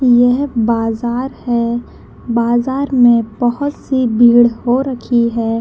यह बाजार है बाजार में बहुत सी भीड़ हो रखी है।